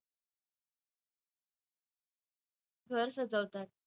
घर सजवतात.